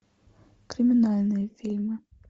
криминальные фильмы